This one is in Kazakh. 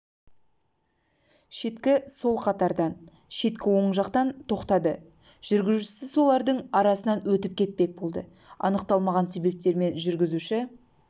шеткі сол қатардан шеткі оң жатқан тоқтады жүргізушісі солардың арасынан өтіп кетпек болды анықталмаған себептермен жүргізуші